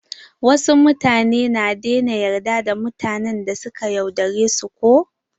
Wasu mutane na daina yarda da mutanen da suka yaudare su ko.